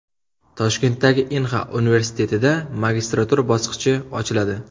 Toshkentdagi Inha universitetida magistratura bosqichi ochiladi.